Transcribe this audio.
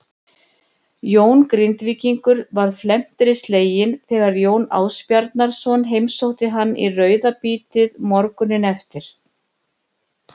Jón Grindvíkingur varð felmtri sleginn þegar Jón Ásbjarnarson heimsótti hann í rauðabítið morguninn eftir.